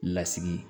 Lasigi